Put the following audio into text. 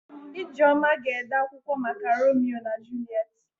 Ijeọma ga-ede akwụkwọ maka Romio na Juliet.